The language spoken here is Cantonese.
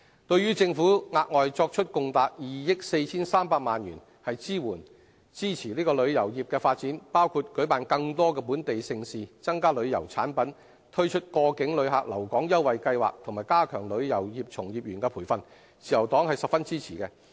對於政府額外作出共達2億 4,300 萬元的支援支持旅遊業的發展，包括舉辦更多本地盛事、增加旅遊產品、推出過境旅客留港優惠計劃，以及加強旅遊業從業員培訓，自由黨十分支持。